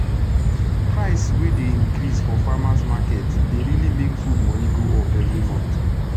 price wey dey increase for farmers market dey really make fud moni go up everi month